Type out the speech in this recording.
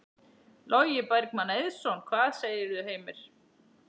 Logi Bergmann Eiðsson: Hvað segirðu, Heimir?